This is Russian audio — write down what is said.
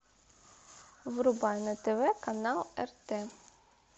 врубай на тв канал рт